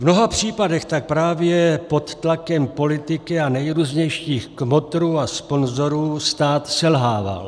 V mnoha případech tak právě pod tlakem politiky a nejrůznějších kmotrů a sponzorů stát selhával.